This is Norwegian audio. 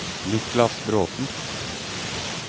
Niklas Bråten